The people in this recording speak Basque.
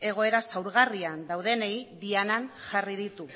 egoera zaurgarrian daudenei dianan jarri ditu